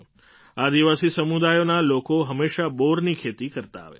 આદિવાસી સમુદાયોના લોકો હંમેશાં બોરની ખેતી કરતા આવ્યા છે